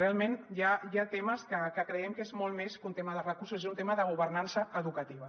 realment hi ha temes que creiem que són molt més que un tema de recursos són un tema de governança educativa